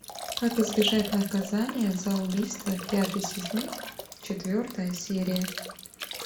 как избежать наказания за убийство пятый сезон четвертая серия